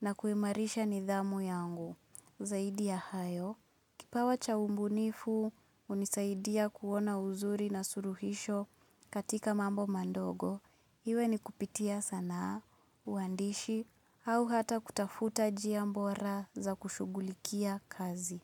na kuimarisha nidhamu yangu. Zaidi ya hayo, kipawa cha ubunifu hunisaidia kuona uzuri na suluhisho katika mambo madogo, iwe ni kupitia sanaa, uandishi, au hata kutafuta njia bora za kushughulikia kazi.